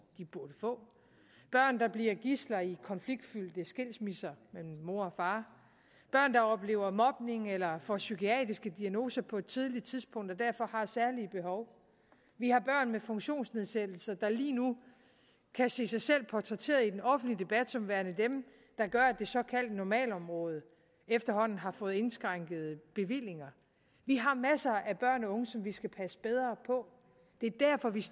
de burde få børn der bliver gidsler i konfliktfyldte skilsmisser mellem mor og far børn der oplever mobning eller får psykiatriske diagnoser på et tidligt tidspunkt og derfor har særlige behov vi har børn med funktionsnedsættelser der lige nu kan se sig selv portrætteret i den offentlige debat som værende dem der gør at det såkaldte normalområde efterhånden har fået indskrænkede bevillinger vi har masser af børn og unge som vi skal passe bedre på det er derfor vi